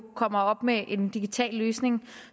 kommer med en digital løsning